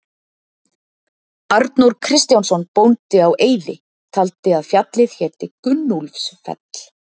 Arnór Kristjánsson bóndi á Eiði taldi að fjallið héti Gunnúlfsfell.